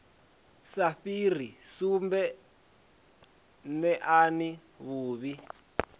sa fhiri sumbe neani vhuvhi